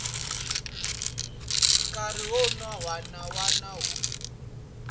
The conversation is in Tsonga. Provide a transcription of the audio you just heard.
nkarhi wun wana na wun